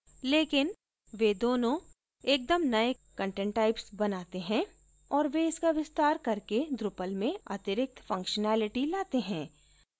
लेकिन वे दोनों एकदम नए content types बनाते हैं और वे इसका विस्तार करके drupal में अतिरिक्त functionality लाते हैं